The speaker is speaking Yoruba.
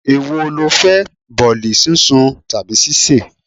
È wo lo fẹ́? Bọ̀ọ̀lì sún sun tàbí sise?